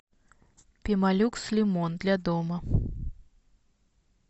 пемолюкс лимон для дома